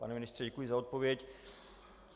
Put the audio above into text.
Pane ministře, děkuji za odpověď.